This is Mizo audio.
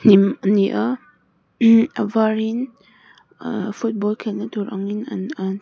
hnim a ni a a varin ahh football khelhna tur angin an an--